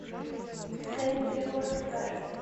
сэнди уэкслер